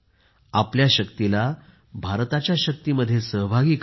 आपल्या शक्तीला भारताच्या शक्तीमध्ये सहभागी करा